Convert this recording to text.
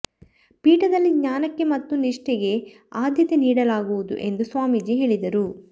ಪೀಠದಲ್ಲಿ ಜ್ಞಾನಕ್ಕೆ ಮತ್ತು ನಿಷ್ಠೆಗೆ ಆದ್ಯತೆ ನೀಡಲಾಗುವುದು ಎಂದು ಸ್ವಾಮೀಜಿ ಹೇಳಿದರು